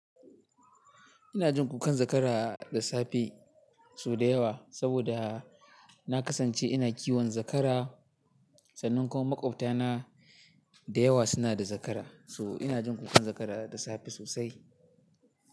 Ina jin kukan zakara da safe sau da yawa, saboda na kasance ina kiwon zakara. Sannan kuma maƙwabtana da yawa suna da zakara, so ina jin kukan zakara da safe sosai.